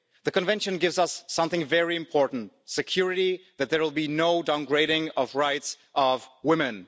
The Convention gives us something very important security that there will be no downgrading of the rights of women.